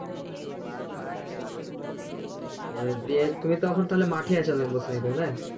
সেটাই দিয়ে তুমি তো এখন তাহলে মাঠেই আছো নাকি বসে তাহলে